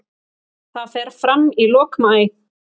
Það fer fram í lok maí.